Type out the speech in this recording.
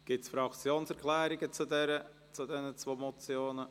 Gibt es Fraktionserklärungen zu diesen zwei Motionen?